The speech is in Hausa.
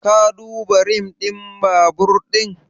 Ka duba rim din babur din?